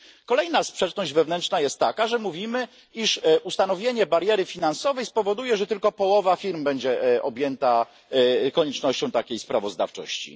Kolejna sprzeczność wewnętrzna jest taka, że mówimy, iż ustanowienie bariery finansowej spowoduje, że tylko połowa firm będzie objęta koniecznością takiej sprawozdawczości.